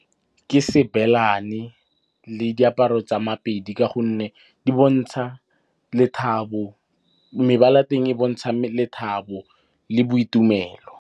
Ke Sebelane le diaparo tsa Mapedi ka gonne di bontsha lethabo, mebala'teng e bontsha lethabo le boitumelo.